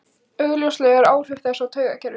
Augljósust eru áhrif þess á taugakerfið.